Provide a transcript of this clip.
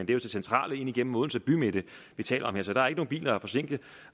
det centrale ind igennem odense bymidte vi taler om her så der er ikke nogen biler at forsinke